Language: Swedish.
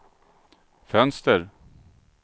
fönster